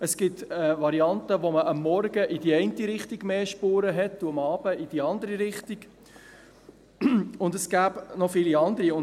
Es gibt eine Variante, wo man am Morgen in die eine Richtung mehr Spuren hat und am Abend in die andere, und es gäbe noch viele andere Modelle.